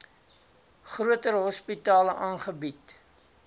groter hospitale aangebied